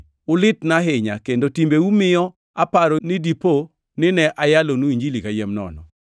Ulitna ahinya, kendo timbeu miyo aparo ni dipo nine ayalonu Injili kayiem nono.